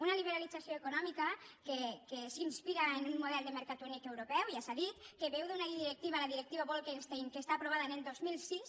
una liberalització econòmica que s’inspira en un model de mercat únic europeu ja s’ha dit que beu d’una directiva la directiva bolkestein que està aprovada el dos mil sis